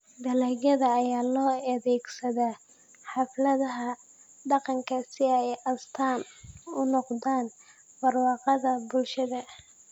Dalagga ayaa loo adeegsadaa xafladaha dhaqanka si ay astaan ??u noqdaan barwaaqada bulshada.